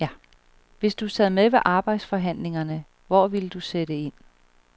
Hvis du sad med ved arbejdsforhandlingerne, hvor ville du sætte ind?